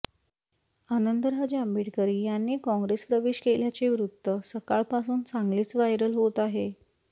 आनंदराज आंबेडकर यांनी काँग्रेस प्रवेश केल्याचे वृत्त सकाळपासून चांगलेच व्हायरल होत आहे